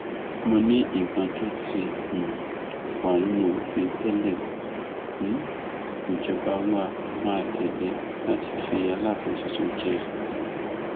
mo ní nǹkan tó ti um wà nínú òfin tẹlẹ um níjọba wa máa tẹlé láti fi aláàfin tuntun jẹ